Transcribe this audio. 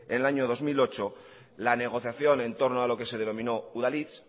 en el año dos mil ocho la negociación entorno a lo que se denominó udalhitz